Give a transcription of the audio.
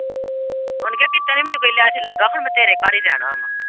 ਉਹਨੇ ਕਿਹਾ ਕੀਤੇ ਨੀ ਮੈਨੂੰ ਬਿੱਲ ਆ ਚੱਲਾ ਪਰ ਮੈਂ ਤੇਰੇ ਘਰ ਹੀ ਰਹਿਣਾ ਵਾਂ।